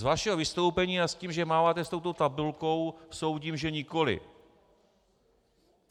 Z vašeho vystoupení a s tím, že máváte s touto tabulkou, soudím, že nikoliv.